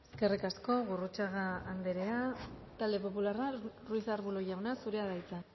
eskerrik asko gurrutxaga anderea talde popularra ruiz de arbulo jauna zurea da hitza